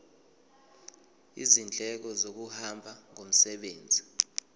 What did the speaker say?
izindleko zokuhamba ngomsebenzi